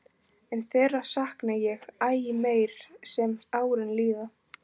En þeirra sakna ég æ meir sem árin líða.